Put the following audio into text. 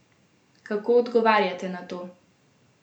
Kako odgovarjate na to?